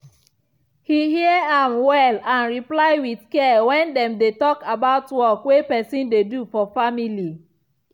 he hear am well and reply with care when dem dey talk about work way person dey do for family.